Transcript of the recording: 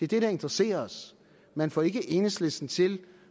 det der interesserer os man får ikke enhedslisten til